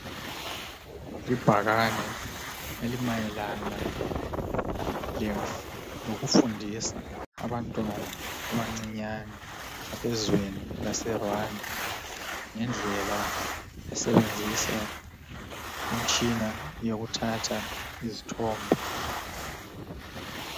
Ibhakane elimayelana lokufundisa abantwana abancinyane abezweni laseRwanda ngendlela okusebenzisa imitshina yokuthatha izithombe.